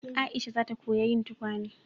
Aisha za ta koya yin tukwane